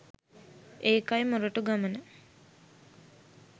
ඒකයි මොරටු ගමන